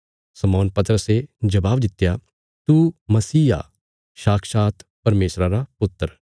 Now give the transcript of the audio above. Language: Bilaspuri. शमौन पतरसे जबाब दित्या तू मसीह आ साक्षात परमेशरा रा पुत्र